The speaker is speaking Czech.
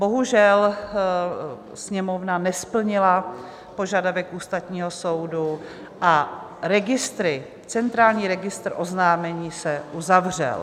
Bohužel, Sněmovna nesplnila požadavek Ústavního soudu a centrální registr oznámení se uzavřel.